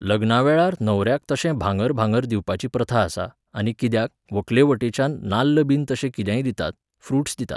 लग्नावेळार न्हवऱ्याक तशें भांगर भांगर दिवपाची प्रथा आसा, आनी कित्याक, व्हंकलेवटेच्यान नाल्लबीन तशें कितेंय दितात, फ्रुट्स दितात